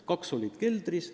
Kaks olid keldris.